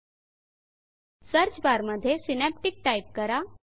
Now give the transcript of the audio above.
search bar मध्ये Synaptic Synaptic type करा